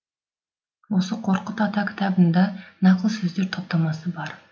осы қорқыт ата кітабында нақыл сөздер топтамасы бар